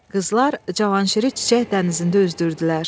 Qızlar Cavanşiri çiçək dənizində üzdürdülər.